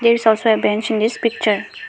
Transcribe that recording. there is bench in this picture.